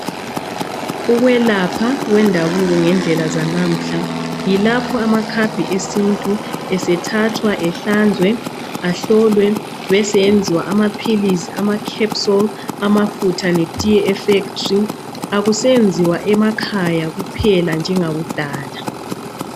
Ukwelapha kwendabuko ngendlela zanamuhla yilapho amakhambi esintu esethathwa ehlanzwe, ehlolwe ebeseyenzwa amaphilisi ama "capsules" amafutha ltiye e"factory"akusenziwa emakhaya kuphela njengakudala.